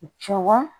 Cɛwa